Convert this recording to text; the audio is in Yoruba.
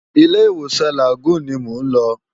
Ilé Iwósan Lágúùn ni mó n lò